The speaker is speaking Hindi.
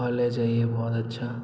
कॉलेज है ये बहोत अच्छा।